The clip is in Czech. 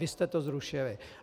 Vy jste to zrušili.